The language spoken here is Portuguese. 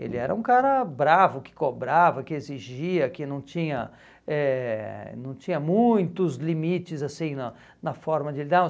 Ele era um cara bravo, que cobrava, que exigia, que não tinha eh não tinha muitos limites assim na na forma de lidar.